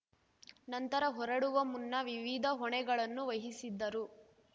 ನಂತರ ಹೊರಡುವ ಮುನ್ನ ವಿವಿಧ ಹೊಣೆಗಳನ್ನು ವಹಿಸಿದ್ದರು